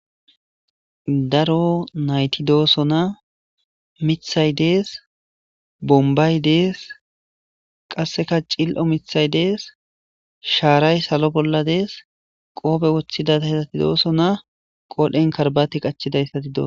daro nayti dooso na mithay dees bombay dees qasseka cil7o mithay dees shaaray salo bolla dees qoobe woththidata hesati dooso na qoodhen karbati qachidayssati doos